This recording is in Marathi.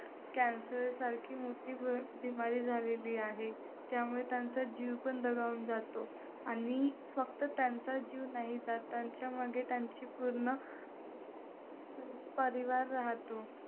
cancer सारखी मोठी बीमारी झालेली आहे. त्यामुळे त्यांचा जीव पण दगावून जातो. आणि फक्त त्यांचाच जीव नाही जात, त्यांच्यामध्ये त्यांची पूर्ण परिवार राहतो.